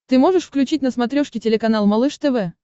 ты можешь включить на смотрешке телеканал малыш тв